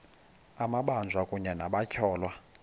amabanjwa kunye nabatyholwa